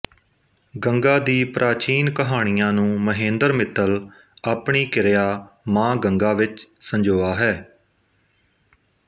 ਗੰਗਾ ਦੀ ਪ੍ਰਾਚੀਨ ਕਹਾਣੀਆਂ ਨੂੰ ਮਹੇਂਦਰ ਮਿੱਤਲ ਆਪਣੀ ਕਿਰਿਆ ਮਾਂ ਗੰਗਾ ਵਿੱਚ ਸੰਜੋਆ ਹੈ